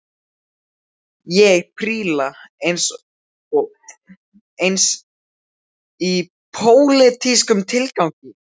Ég príla aðeins í pólitískum tilgangi